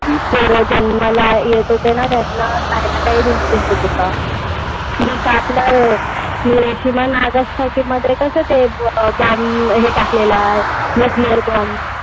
किंवा जन्माला येत होते ना त्यांना काही ना काहीतरी disease होत होता. जसं आपलं हिरोशिमा, नागसकीमध्ये कसं ते bomb हे टाकला होता nuclear bomb.